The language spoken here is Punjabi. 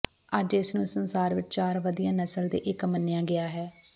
ਅੱਜ ਇਸ ਨੂੰ ਸੰਸਾਰ ਵਿਚ ਚਾਰ ਵਧੀਆ ਨਸਲ ਦੇ ਇੱਕ ਮੰਨਿਆ ਗਿਆ ਹੈ